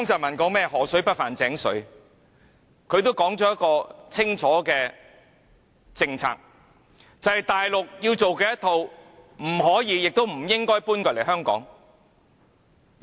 他說河水不犯井水，定下清楚的政策，便是大陸做的一套不可以、亦不應該搬來香港。